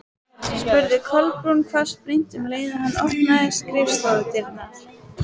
spurði Kolbrún hvassbrýnd um leið og hann opnaði skrifstofudyrnar.